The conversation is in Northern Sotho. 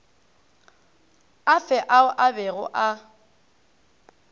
afe ao a bego a